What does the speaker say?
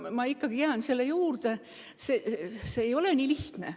Ma ikkagi jään selle juurde, et see ei ole nii lihtne.